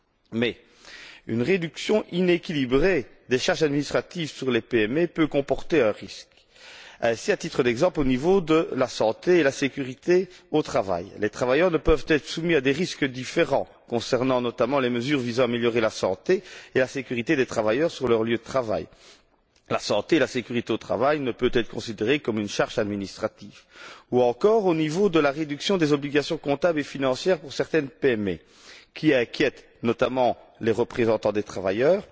Mais une réduction inéquilibrée des charges administratives sur les PME peut comporter un risque, par exemple, au niveau de la santé et de la sécurité au travail les travailleurs ne peuvent être soumis à des risques différents concernant, notamment, les mesures visant à améliorer la santé et la sécurité des travailleurs sur leur lieu de travail la santé et la sécurité au travail ne peuvent être considérées comme une charge administrative ou encore, au niveau de la réduction des obligations comptables et financières pour certaines PME, qui inquiète notamment les représentants des travailleurs,